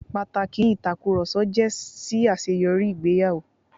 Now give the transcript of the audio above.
Pàtàkì ni ìtakùrọ̀sọ jẹ́ sí àṣeyọrí ìgbéyàwó.